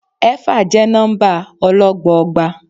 Éfà jẹ́ nọ́mbà ọlọ́gbọọgba.